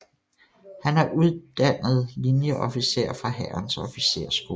Han er uddannet linieofficer fra Hærens Officersskole